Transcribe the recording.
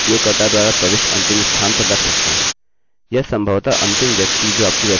या संभवतः अंतिम व्यक्ति जो आपकी वेबसाइट पर पंजीकृत हुआ है या कुछ भी